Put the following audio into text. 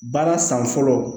Baara san fɔlɔ